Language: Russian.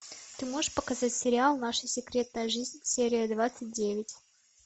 ты можешь показать сериал наша секретная жизнь серия двадцать девять